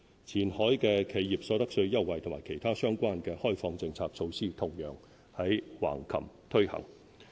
前海的企業所得稅優惠及其他相關的開放政策措施同樣在橫琴推行。